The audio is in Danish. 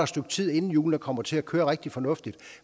stykke tid inden hjulene kommer til at køre rigtig fornuftigt